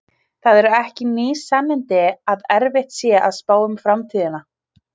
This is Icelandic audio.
það eru ekki ný sannindi að erfitt sé að spá um framtíðina